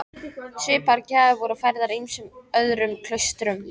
Svipaðar gjafir voru færðar ýmsum öðrum klaustrum.